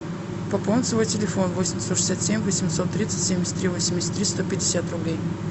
пополнить свой телефон восемь девятьсот шестьдесят семь восемьсот тридцать семьдесят три восемьдесят три сто пятьдесят рублей